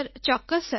સરચોક્કસ